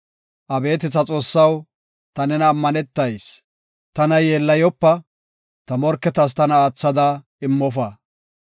Abeeti ta Xoossaw, ta nenan ammanetayis; tana yeellayopa; ta morketas tana aathada immofa.